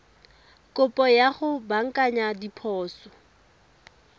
kopo ya go baakanya diphoso